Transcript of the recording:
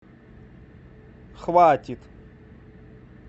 хватит